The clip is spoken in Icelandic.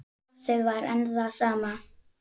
Brosið var enn það sama.